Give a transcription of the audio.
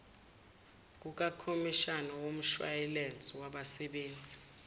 kukakhomishani womshwayilense wabangasebenzi